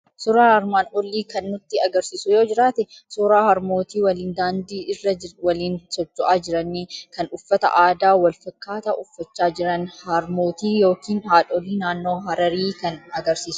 Suuraan armaan olii kan inni nutti argisiisu yoo jiraate suuraa harmootii waliin daandii irra waliin socho'aa jiran, kan uffata aadaa wal fakkaataa uffachaa jiran, Harmootii yookiin haadholii naannoo Hararii kan agarsiisudha.